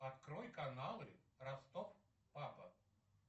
открой каналы ростов папа